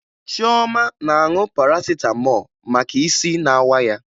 Chioma na-aṅụ Parasịtamọọ maka isi na-awa ya